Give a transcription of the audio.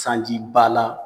Sanjiba la